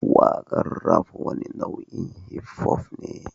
Waƙar Rap wani nau'in hip-hop ne